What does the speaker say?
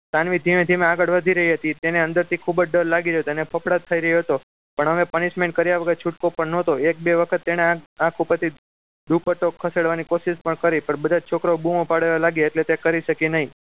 સાનવી ધીમે ધીમે આગળ વધી રહી હતી તેને અંદરથી ખૂબ જ ડર લાગી રહ્યો હતો અને ફાફડાટ થઈ રહ્યો હતો પણ હવે punishment કર્યા વગર છૂટકો પણ ન હતું એક બે વખત તેના આંખ ઉપરથી દુપટ્ટો ખસેડવાની કોશિશ પણ કરી પણ બધા છોકરાઓ બુમાં પાડવા લાગ્યા એટલે તે કરી શકી નહીં